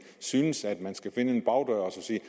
synes at man skal finde en bagdør og sige